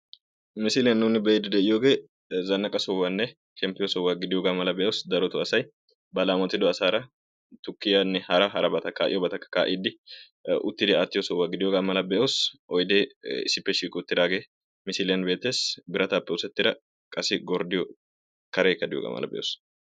Misiliyaan nuuni be'ide de'iyoogee zanaqa sohuwaanne shemppiyo sohuwaa gidiyooga mala be'oos, darotto asay ba laammoti asaraa tukkiyanne hara harabakka ka'iyoobata ka'idi uttidi aatiyo sohuwa gidiyo mala be'oos; oyde issippe shiiqidi uttidaage misiliyaan beettees; biratappe oosetidda qassi gorddiyo karekka de'iyooga be'oos.